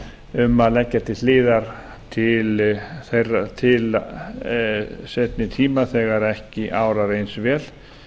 um að leggja til hliðar til seinni tíma þegar ekki árar eins vel